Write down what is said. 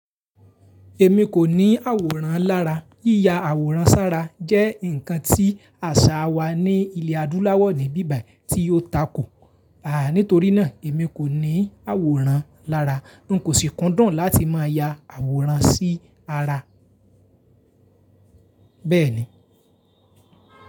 Èmi kò ní àwòrán lára. Yíya àwòrán sára jẹ́ ǹkan tí àṣà wa ní ilẹ̀ adúláwọ̀ ní ibíbài tí ó tako. Àà nítorí náà, èmi kò ní àwòrán lára. Nkò sì kúndùn láti máa ya àwòrán sí ara. Bẹ́ẹ̀ni.